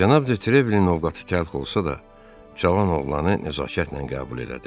Cənab Detrevelin ovqatı təlx olsa da, cavan oğlanı nəzakətlə qəbul elədi.